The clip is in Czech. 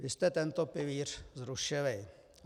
Vy jste tento pilíř zrušili.